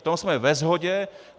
V tom jsme ve shodě.